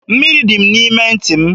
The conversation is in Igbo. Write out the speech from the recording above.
Mmiri dị n'ime ntị m.